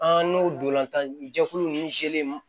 An n'o dolan jɛkulu ninnu